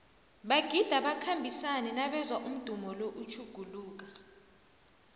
bagida bakhambisane nabezwa umdumo lo utjhuguluka